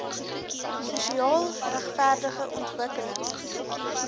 sosiaal regverdige ontwikkelings